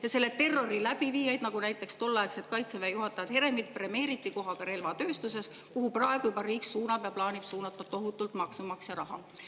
Ja selle terrori läbiviijaid premeeriti, näiteks tolleaegset Kaitseväe juhatajat Heremit kohaga relvatööstuses, kuhu praegu ka riik plaanib suunata ja suunab tohutult maksumaksja raha.